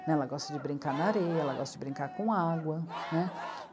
Né. Ela gosta de brincar na areia, ela gosta de brincar com água, né.